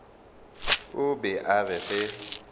o be a re ge